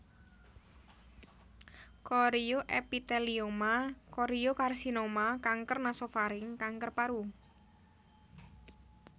Chorioepithelioma choriocarcinoma kanker nasopharynx kanker paru